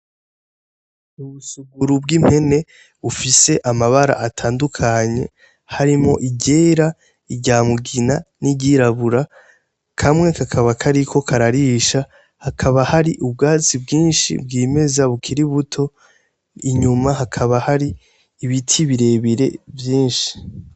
Ubusuguru bw'impene bufise amabara atandukanye harimo iryera, iryamugina n'iryirabura kamwe kakaba kariko kararisha, hakaba hari ubwatsi bwinshi bwimeza bukira buto inyuma hakaba har'ibiti birebire vyinshi.